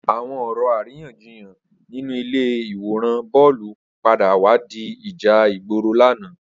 Awọn ọrọ àrínyànjíyán ninú ilé iwórân bọlú pàdá wà di ijà igbóró làná